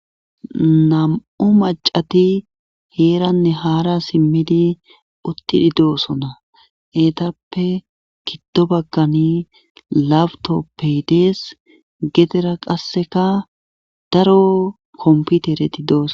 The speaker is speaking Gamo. Nam'u macati heeranne haara simmidi uttidi doosona eetappe kiddo bagkani labutoppey dees gedera qasseka daro kompitereti dooso.